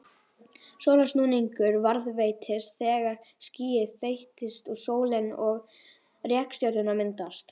Svona snúningur varðveitist þegar skýið þéttist og sólin og reikistjörnurnar myndast.